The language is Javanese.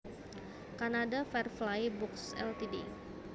Canada Firefly Books Ltd